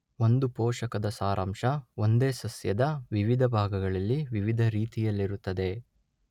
ಒಂದು ಪೋಷಕದ ಸಾರಾಂಶ ಒಂದೇ ಸಸ್ಯದ ವಿವಿಧ ಭಾಗಗಳಲ್ಲಿ ವಿವಿಧ ರೀತಿಯಲ್ಲಿರುತ್ತದೆ.